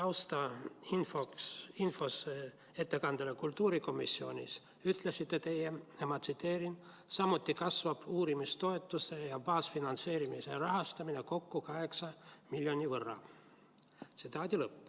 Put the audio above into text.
Oma taustainfos ettekandele kultuurikomisjonis ütlesite te, et samuti kasvab uurimistoetuste ja baasfinantseerimise rahastamine, kokku 8 miljoni võrra.